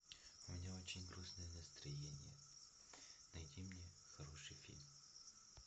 у меня очень грустное настроение найди мне хороший фильм